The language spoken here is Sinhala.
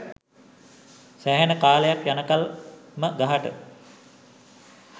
සෑහෙන කාලයක් යනකල් ම ගහට